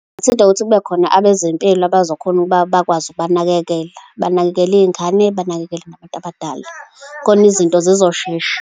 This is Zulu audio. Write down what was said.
Singabathinta ngokuthi kube khona abezempilo abazokhona ukuba bakwazi ukubanakekela, banakekele iy'ngane, banakekele abantu abadala. Khona izinto zizoshesha.